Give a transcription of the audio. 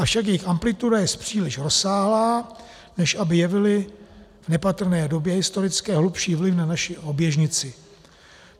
Avšak jejich amplituda jest příliš rozsáhlá, než aby jevily v nepatrné době historické hlubší vliv na naši oběžnici.